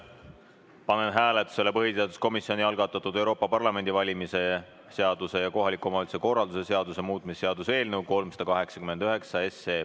Panen hääletusele põhiseaduskomisjoni algatatud Euroopa Parlamendi valimise seaduse ja kohaliku omavalitsuse korralduse seaduse muutmise seaduse eelnõu 389.